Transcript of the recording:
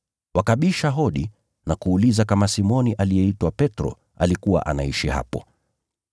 Wakabisha hodi na kuuliza kama Simoni aliyeitwa Petro alikuwa anaishi hapo.